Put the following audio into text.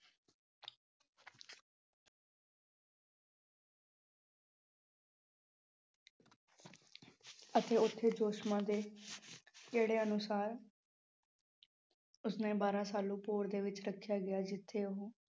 ਅਤੇ ਉੱਥੇ ਦੇ ਕਿਹੜੇ ਅਨੁਸਾਰ ਉਸਨੂੰ ਬਾਰਾਂ ਸਾਲ ਭੋਰੇ ਦੇ ਵਿੱਚ ਰੱਖਿਆ ਗਿਆ ਜਿੱਥੇ ਉਹ